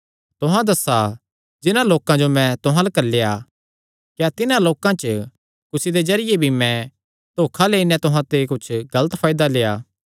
तुहां दस्सा जिन्हां लोकां जो मैं तुहां अल्ल घल्लेया क्या तिन्हां लोकां च कुसी दे जरिये भी मैं धोखा देई नैं तुहां ते कुच्छ गलत फायदा लेआ